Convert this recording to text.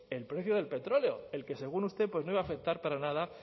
el precio del petróleo el que según usted pues no iba a afectar para nada